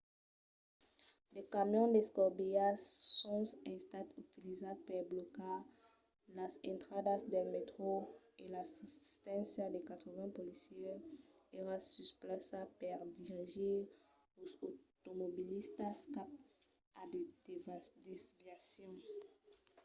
de camions d'escobilhas son estats utilizats per blocar las intradas del mètro e l'assisténcia de 80 policièrs èra sus plaça per dirigir los automobilistas cap a de desviacions